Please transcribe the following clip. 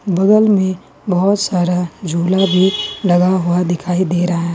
बगल में बहुत सारा झूला भी लगा हुआ दिखाई दे रहा है।